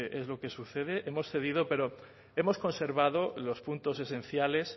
es lo que sucede hemos cedido pero hemos conservado los puntos esenciales